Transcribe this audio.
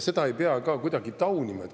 Seda ei pea kuidagi taunima.